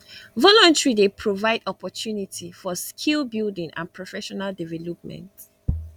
volunteer dey provide opportunity for skill building and professional development